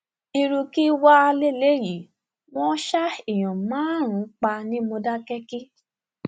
irú kí wàá lélẹyìí wọn ṣa èèyàn márùnún pa ní mòdákẹkí